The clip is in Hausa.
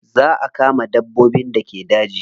Za a kama dabbobin da ke daji.